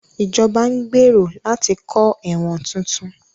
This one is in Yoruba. Ìjọba ń gbèrò láti kọ́ ẹ̀wọ̀n tuntun